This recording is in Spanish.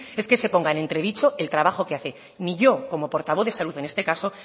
es que se ponga en entredicho el trabajo que hace ni yo como portavoz de salud en este caso